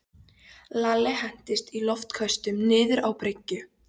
Lalli hentist í loftköstum niður á bryggju.